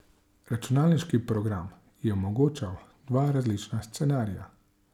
Računalniški program je omogočal dva različna scenarija.